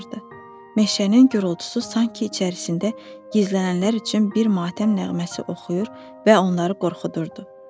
Meşənin gurultusu sanki içərisində gizlənənlər üçün bir matəm nəğməsi oxuyur və onları qorxudurdu.